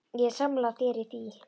Ég er sammála þér í því.